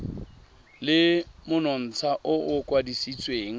le monontsha o o kwadisitsweng